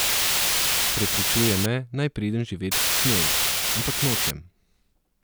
Prepričuje me, naj pridem živet k njej, ampak nočem.